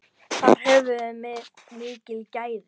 Þar höfum við mikil gæði.